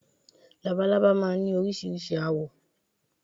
Labalábá máa ń ní oríṣiríṣi àwọ̀